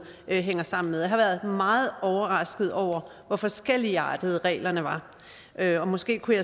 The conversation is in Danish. hænger sammen med jeg har været meget overrasket over hvor forskelligartede reglerne er og måske kunne